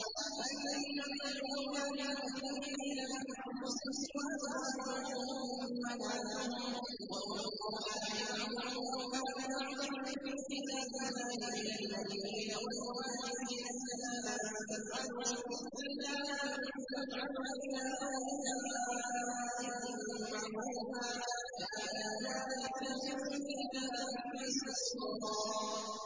النَّبِيُّ أَوْلَىٰ بِالْمُؤْمِنِينَ مِنْ أَنفُسِهِمْ ۖ وَأَزْوَاجُهُ أُمَّهَاتُهُمْ ۗ وَأُولُو الْأَرْحَامِ بَعْضُهُمْ أَوْلَىٰ بِبَعْضٍ فِي كِتَابِ اللَّهِ مِنَ الْمُؤْمِنِينَ وَالْمُهَاجِرِينَ إِلَّا أَن تَفْعَلُوا إِلَىٰ أَوْلِيَائِكُم مَّعْرُوفًا ۚ كَانَ ذَٰلِكَ فِي الْكِتَابِ مَسْطُورًا